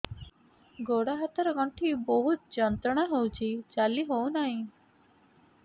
ଗୋଡ଼ ହାତ ର ଗଣ୍ଠି ବହୁତ ଯନ୍ତ୍ରଣା ହଉଛି ଚାଲି ହଉନାହିଁ